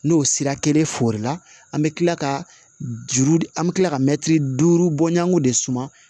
N'o sira kelen fɔrila an be kila ka juru de an be kila ka mɛtiri duuru bɔɲanko de suman